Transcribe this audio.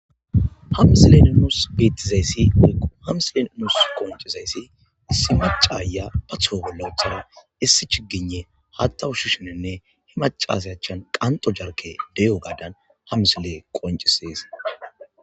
ha msile nus beettizayssi woyikko ha msiley nus qoncizayssi issi macaaya patho bolla uthara issi chigine hatta ushasheenne he macasy achan qanxo jarke de'ogaadan hamisiley qoncisees